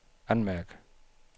anmærk